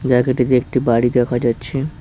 জায়গাটিতে একটি বাড়ি দেখা যাচ্ছে।